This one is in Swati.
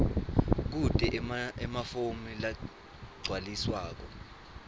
kute emafomu lagcwaliswako